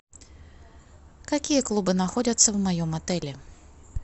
какие клубы находятся в моем отеле